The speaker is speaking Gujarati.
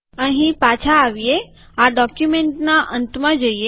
અહીં પાછા આવીએ આ ડોક્યુમેન્ટના અંતમાં જઈએ